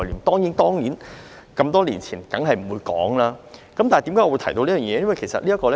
當然，那麼多年前的法例一定不會提到，但為何我會提到這方面呢？